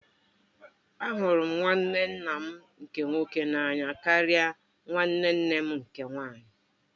Ahụrụ m nwanne nna m nke nwoke n'anya karịa nwanne nne m nke nwaanyị.